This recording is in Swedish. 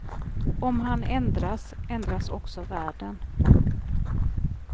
Om han ändras, ändras också världen.